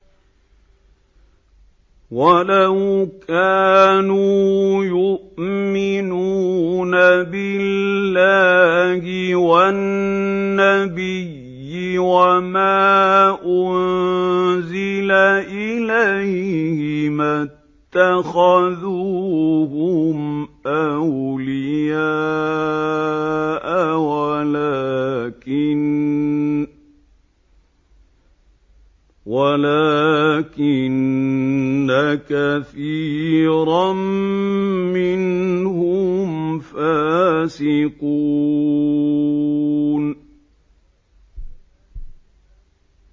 وَلَوْ كَانُوا يُؤْمِنُونَ بِاللَّهِ وَالنَّبِيِّ وَمَا أُنزِلَ إِلَيْهِ مَا اتَّخَذُوهُمْ أَوْلِيَاءَ وَلَٰكِنَّ كَثِيرًا مِّنْهُمْ فَاسِقُونَ